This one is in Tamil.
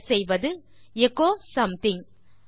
டைப் செய்வது எச்சோ சோமதிங்